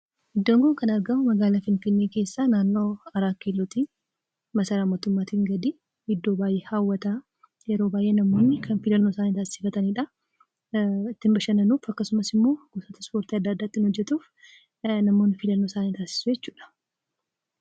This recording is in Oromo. Iddoon kun kan argamu magaalaa finfinnee keessaa naannawaa kiiloo 4tti maasaraa mootummaatiin gadii. Iddoo baay'ee hawwataa yeroo baay'ee namoonni kan filannoo isaanii taasifatanidha. Ittiin bashannanuuf akkasumas immoo ispoortii adda addaa ittiin hojjatuuf namoonni filannoo isaanii taasisuu jechuudha.